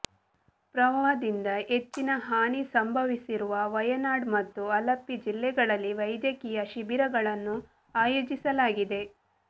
ಪ್ರವಾಹದಿಂದ ಹೆಚ್ಚಿನ ಹಾನಿ ಸಂಭವಿಸಿರುವ ವಯನಾಡ್ ಮತ್ತು ಅಲಪ್ಪಿ ಜಿಲ್ಲೆಗಳಲ್ಲಿ ವೈದ್ಯಕೀಯ ಶಿಬಿರಗಳನ್ನು ಆಯೋಜಿಸಲಾಗಿದೆ